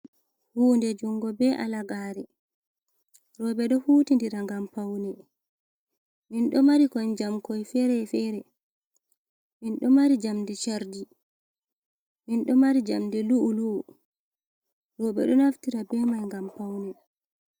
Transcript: Hunde jungo bee halagaare. Rowɓe ɗo huutidira ngam paune. Min ɗo mari kon njamkoi ferefere, min ɗo mari njamdi charji, min ɗo mari njamdi lu’u-lu’u. Rowɓe ɗo naftira bee mai ngam paune.